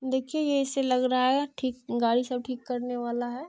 देखिए यह ऐसे लग रहा है ठीक गाड़ी सब ठीक करने वाला है।